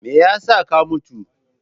Me yasa ka mutu!